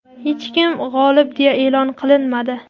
hech kim g‘olib deya e’lon qilinmadi.